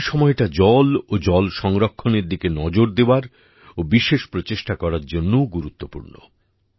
এই সময়টা জল ও জল সংরক্ষণের দিকে নজর দেওয়ার ও বিশেষ প্রচেষ্টা করার জন্যও গুরুত্বপূর্ণ